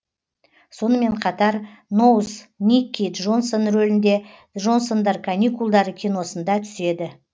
сонымен қатар ноуз никки джонсон рөлінде джонсондар каникулдары киносында түседі